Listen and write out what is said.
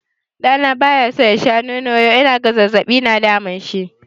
Ɗa na bayaso ya sha nono yau inaga zazzaɓi na damunshi.